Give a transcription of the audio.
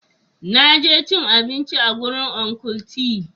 Na je cin abinci a gurin Uncle tee.